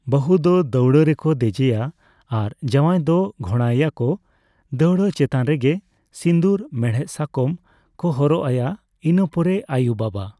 ᱵᱟᱹᱦᱩ ᱫᱚ ᱫᱟᱹᱣᱲᱟᱹ ᱨᱮᱠᱚ ᱫᱮᱡᱮᱭᱟ ᱟᱨ ᱡᱟᱣᱟᱭ ᱫᱚ ᱜᱷᱳᱲᱟᱭᱮᱭᱟᱠᱚ ᱫᱟᱹᱣᱲᱟᱹ ᱪᱮᱛᱟᱱᱨᱮᱜᱮ ᱥᱤᱸᱫᱩᱨ ᱢᱮᱲᱦᱮᱫᱽ ᱥᱟᱠᱟᱢ ᱠᱚ ᱦᱚᱨᱚᱜ ᱟᱭᱟ ᱾ ᱤᱱᱟᱹ ᱯᱚᱨᱮ ᱟᱹᱭᱩ ᱵᱟᱵᱟ